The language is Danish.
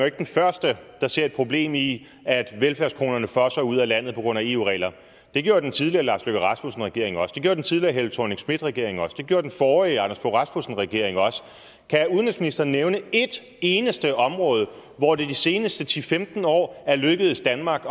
ikke den første der ser et problem i at velfærdskronerne fosser ud af landet på grund af eu regler det gjorde den tidligere lars løkke rasmussen regering også den gjorde den tidligere helle thorning schmidt regering også det gjorde den forrige anders fogh rasmussen regering også kan udenrigsministeren nævne et eneste område hvor det de seneste ti til femten år er lykkedes danmark